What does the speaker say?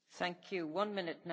Pani Przewodnicząca!